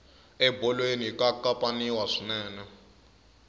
ebolweni ka kapaniwa swinene